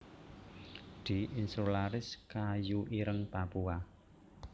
D insularis kayu ireng Papua